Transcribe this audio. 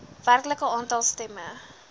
werklike aantal stemme